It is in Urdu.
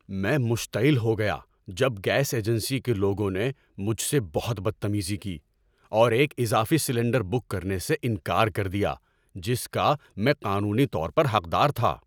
میں مشتعل ہو گیا جب گیس ایجنسی کے لوگوں نے مجھ سے بہت بدتمیزی کی اور ایک اضافی سلنڈر بک کرنے سے انکار کر دیا جس کا میں قانونی طور پر حقدار تھا۔